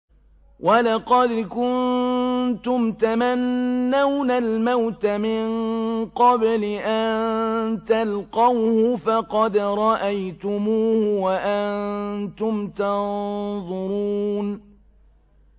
وَلَقَدْ كُنتُمْ تَمَنَّوْنَ الْمَوْتَ مِن قَبْلِ أَن تَلْقَوْهُ فَقَدْ رَأَيْتُمُوهُ وَأَنتُمْ تَنظُرُونَ